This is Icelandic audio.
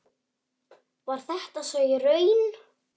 Var þetta svo í raun?